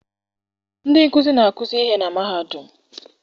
Ndị nkụzi na-akuzi ihe na mahadum